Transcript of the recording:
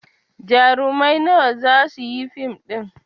Jarumai nawa za su yi fim ɗin?